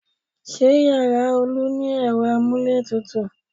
Ṣé yàrá Olu ni ẹ̀rọ amúlétutù?